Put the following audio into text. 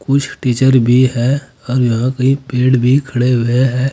कुछ टीचर भी है और कई पेड़ भी खड़े हुए हैं।